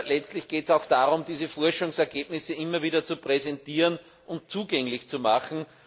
Letztlich geht es auch darum, diese Forschungsergebnisse auch immer wieder zu präsentieren und zugänglich zu machen.